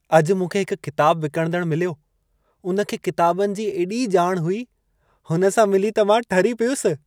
अॼु मूंखे हिकु किताब विकणंदड़ु मिलियो। उन खे किताबनि जो एॾी ॼाण हुई। हुन सां मिली त मां ठरी पियुसि।